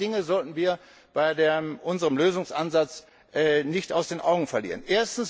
Zwei Dinge sollten wir bei unserem Lösungsansatz nicht aus den Augen verlieren.